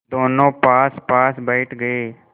दोेनों पासपास बैठ गए